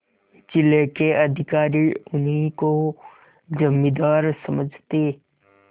जिले के अधिकारी उन्हीं को जमींदार समझते